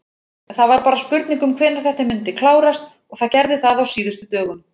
Það var bara spurning hvenær þetta myndi klárast og það gerði það á síðustu dögum.